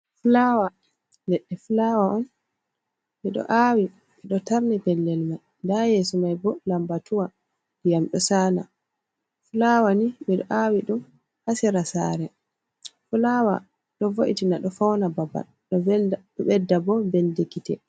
Flawa, leɗɗe flawa on ɓeɗo awi ɓeɗo tarni pellel man ha yeso mai bo lambatuwa ndiyam ɗo sala. Flawa ni ɓeɗo aawi ɗum ha sera sare flawa ɗo vo’itina ɗo fauna babal ɗo ɓedda bo belndi kite.